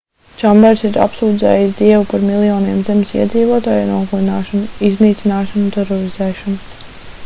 čambers ir apsūdzējis dievu par miljoniem zemes iedzīvotāju nogalināšanu iznīcināšanu un terorizēšanu